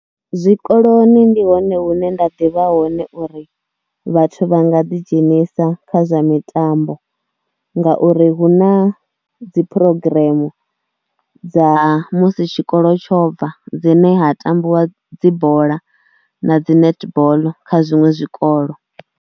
Zwikoloni ndi hone hune nda ḓivha hone uri vhathu vha nga ḓidzhenisa kha zwa mitambo ngauri hu na dzi phurogiremu dza musi tshikolo tsho bva dzine ha tambiwa dzi bola na dzi netball kha zwiṅwe zwikolo.